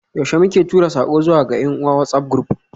Yaushe muke tura sako zuwa ga yan uwa WhatsAf group?